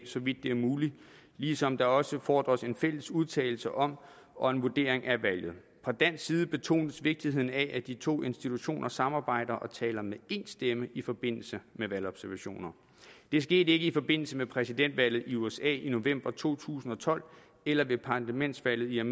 så vidt det er muligt ligesom der også fordres en fælles udtalelse om og en vurdering af valget fra dansk side betones vigtigheden af at de to institutioner samarbejder og taler med én stemme i forbindelse med valgobservationer det skete ikke i forbindelse med præsidentvalget i usa i november to tusind og tolv eller ved parlamentsvalget